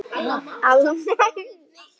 Alma mín.